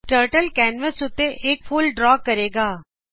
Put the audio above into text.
turtle canvas ਉੱਤੇ ਇਕਫੁੱਲ draw ਕਰੇਗਾ